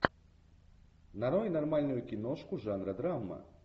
нарой нормальную киношку жанра драма